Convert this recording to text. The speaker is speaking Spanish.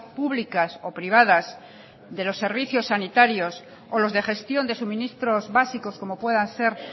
públicas o privadas de los servicios sanitarios o los de gestión de suministros básicos como puedan ser